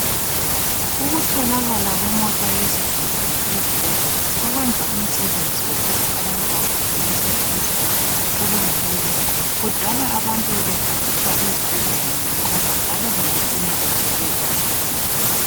Ukutholakala kwemota yezigulane ezibhedlela ukwenza umsebenzi wokuthi abantu baphuthunyiselwe esibhedlela ubelula. Kudala abantu bebehanjiswa esibhedlela ngenqola njalo bebecina befele endleleni.